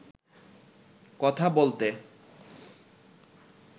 কথা বলতে